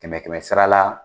Kɛmɛ kɛmɛ sara la